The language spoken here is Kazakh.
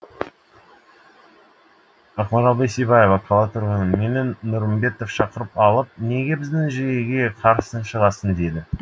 ақмарал бейсебаева қала тұрғыны мені нұрымбетов шақырып алып неге біздің жүйеге қарсы шығасың деді